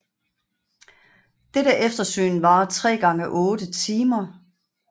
Dette eftersyn varer tre gange otte timer